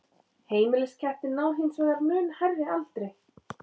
Heimiliskettir ná hins vegar mun hærri aldri.